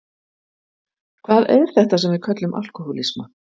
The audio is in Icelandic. Hvað er þetta sem við köllum alkohólisma?